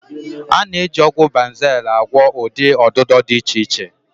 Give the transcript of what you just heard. A na-eji ọgwụ Banzel agwọ ụdị ọdịdọ dị iche iche.